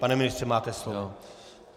Pane ministře, máte slovo.